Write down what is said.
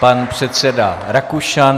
Pan předseda Rakušan.